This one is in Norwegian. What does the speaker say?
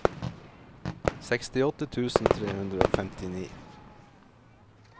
sekstiåtte tusen tre hundre og femtini